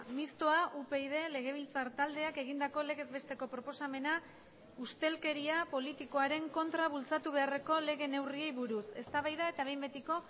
mistoa upyd legebiltzar taldeak egindako legez besteko proposamena ustelkeria politikoaren kontra bultzatu beharreko lege neurriei buruz eztabaida eta behin betiko